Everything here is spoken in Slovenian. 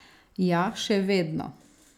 Ja, še vedno.